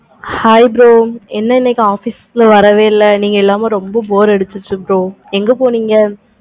hi bro என்ன இன்னைக்கு office வரவே இல்லை. நீங்க வராம ரொம்ப bore அடிச்சிருச்சி எங்க போனீங்க?